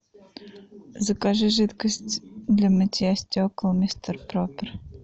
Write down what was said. закажи жидкость для мытья стекол мистер пропер